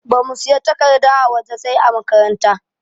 Bamu siyan takarda a waje sai ã makaranta.